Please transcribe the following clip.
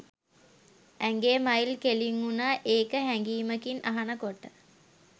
ඇඟේ මයිල් කෙලින් වුනා ඒක හැඟීමකින් අහන කොට.